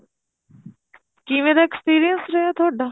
ਕਿਵੇਂ ਦਾ experience ਰਿਹਾ ਤੁਹਾਡਾ